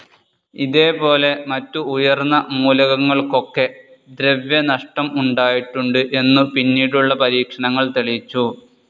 ഇതേ പോലെ മറ്റു ഉയർന്ന മൂലകങ്ങൾക്കൊക്കെ ദ്രവ്യനഷ്ടം ഉണ്ടായിട്ടുണ്ട് എന്നു പിന്നീടുള്ള പരീക്ഷണങ്ങൾ തെളിയിച്ചു.